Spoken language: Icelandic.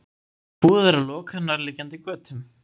Búið er að loka nærliggjandi götum